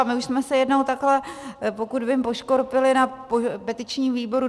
A my už jsme se jednou takhle, pokud vím, poškorpili na petičním výboru.